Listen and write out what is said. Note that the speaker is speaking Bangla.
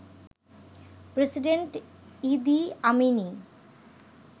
president Idi আমিনই